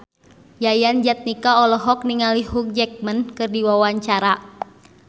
Yayan Jatnika olohok ningali Hugh Jackman keur diwawancara